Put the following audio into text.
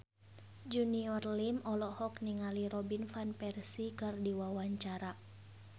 Junior Liem olohok ningali Robin Van Persie keur diwawancara